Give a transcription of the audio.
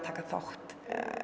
taka þátt